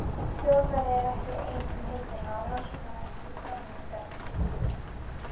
Þjóðfræði er ekki ein um hituna á rannsóknarvettvangi þjóðmenningarinnar.